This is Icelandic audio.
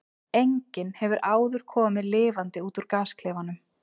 Enginn hefur áður komið lifandi út úr gasklefanum.